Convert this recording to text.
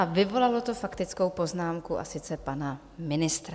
A vyvolalo to faktickou poznámku, a sice pana ministra.